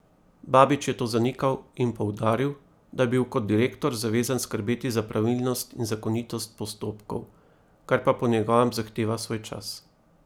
Babič je to zanikal in poudaril, da je bil kot direktor zavezan skrbeti za pravilnost in zakonitost postopkov, kar pa po njegovem zahteva svoj čas.